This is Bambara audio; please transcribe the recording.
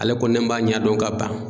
Ale ko ne m'a ɲɛdɔn ka ban.